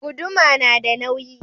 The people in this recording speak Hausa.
Guduma nada nauyi.